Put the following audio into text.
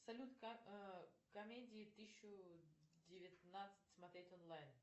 салют комедии тысячу девятнадцать смотреть онлайн